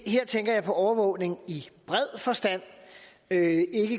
her tænker jeg på overvågning i bred forstand ikke